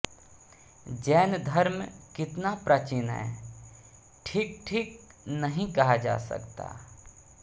जैन धर्म कितना प्राचीन है ठीक ठीक नहीं कहा जा सकता